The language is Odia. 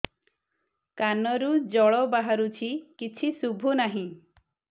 କାନରୁ ଜଳ ବାହାରୁଛି କିଛି ଶୁଭୁ ନାହିଁ